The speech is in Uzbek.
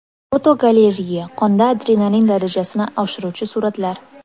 Fotogalereya: Qonda adrenalin darajasini oshiruvchi suratlar.